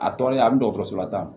A tɔɔrɔlen a bi dɔgɔtɔrɔso la tan